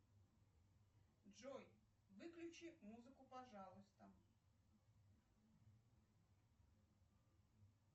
джой выключи музыку пожалуйста